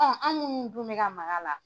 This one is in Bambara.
Ɔ anw minnu dun bɛ ka mak'a la